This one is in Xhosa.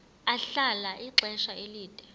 ahlala ixesha elide